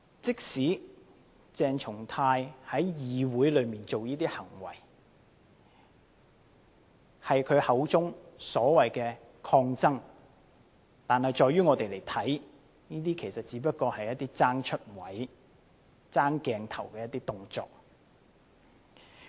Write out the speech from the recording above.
即使鄭松泰議員在議會作出這些行為是他口中所謂的"抗爭"，但在於我們看來，這些只不過是爭"出位"、爭鏡頭的動作。